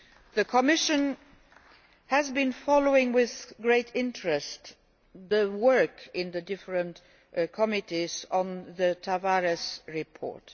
The Commission has been following with great interest the work in the different committees on the Tavares report.